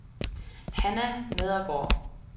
Hanna Nedergaard